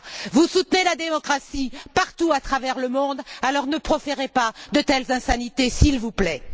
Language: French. Vous soutenez la démocratie, partout à travers le monde, alors ne proférez pas de telles insanités, s'il vous plaît!